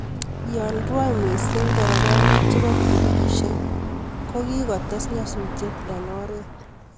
yo bendi mising nderefainik chebo pikipikishek kogigotes nyasusiet eng oret